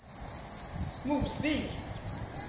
Mosvik